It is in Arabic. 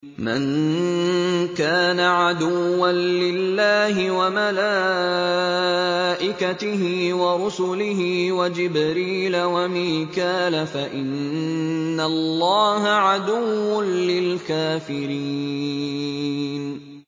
مَن كَانَ عَدُوًّا لِّلَّهِ وَمَلَائِكَتِهِ وَرُسُلِهِ وَجِبْرِيلَ وَمِيكَالَ فَإِنَّ اللَّهَ عَدُوٌّ لِّلْكَافِرِينَ